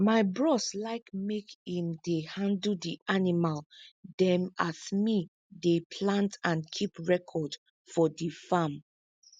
my bros like make im dey handle di animal dem as me dey plant and kip record for di farm